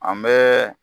An bɛ